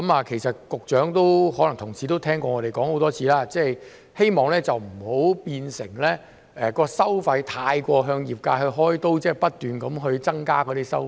其實，局長和同事可能已聽過我們說了很多次，希望收費不要變成太過向業界"開刀"，即不斷增加收費。